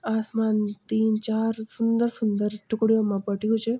आसमान तीन चार सुन्दर सुंदर टुकड़ियों मा बत्यु च।